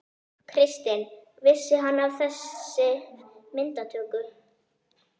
Kristinn: Vissi hann af þessi myndatöku?